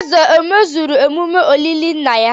Eze emezuru emume olili nna ya?